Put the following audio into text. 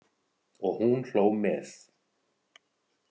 Og hún hló með.